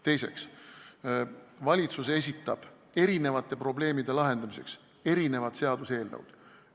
Teiseks, valitsus esitab erinevate probleemide lahendamiseks erinevad seaduseelnõud.